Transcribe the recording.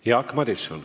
Jaak Madison.